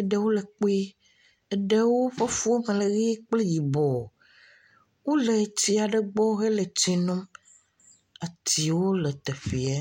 eɖewo le kpui. Eɖewo ƒe fuwo me le ɣi kple yibɔ. Wòle etsi aɖe gbɔ hele tsi nom. Ɖiwo le teƒea.